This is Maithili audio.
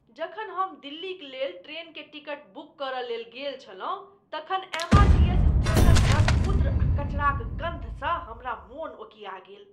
जखन हम दिल्लीक लेल ट्रेन के टिकट बुक करय लेल गेल छलहुँ तखन एमआरटीएस स्टेशन पर मूत्र आ कचराक गन्धसँ हमरा मन ओकीया गेल।